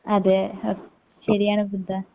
അതെ ആഹ് ശരിയാണ് വൃന്ദ